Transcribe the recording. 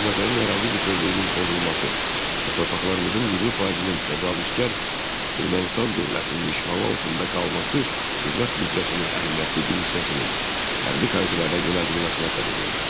Azərbaycanın ərazi bütövlüyünün pozulması və torpaqlarımızın 20%-nin təcavüzkar Ermənistan dövlətinin işğalı altında qalması dövlət büdcəsinin əhəmiyyətli bir hissəsinin hərbi xərclərə yönəldilməsinə səbəb oldu.